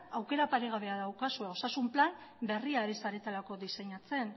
aukera paregabea daukazue osasun plan berria ari zaretelako diseinatzen